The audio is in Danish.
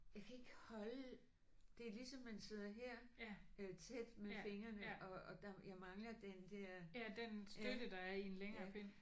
Jeg kan ikke holde det er ligesom man sidder her tæt med fingrene og og der jeg mangler den der ja ja